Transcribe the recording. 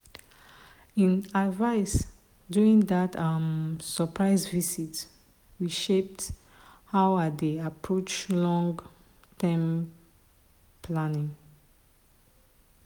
him advice during dat um surprise visit reshape how i dey approach long-term planning.